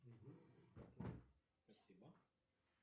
спасибо